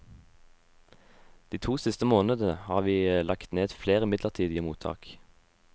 De to siste månedene har vi lagt ned flere midlertidige mottak.